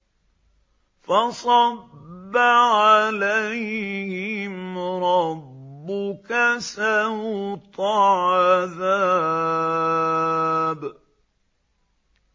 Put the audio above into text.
فَصَبَّ عَلَيْهِمْ رَبُّكَ سَوْطَ عَذَابٍ